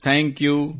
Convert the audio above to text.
thank you